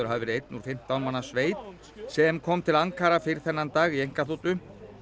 hafa verið einn úr fimmtán manna sveit sem kom til Ankara fyrr þennan dag í einkaþotu